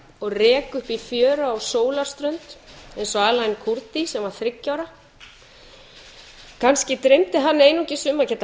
og reka upp í fjöru á sólarströnd eins og allan kurdi sem var þriggja ára kannski dreymdi hann einungis um að geta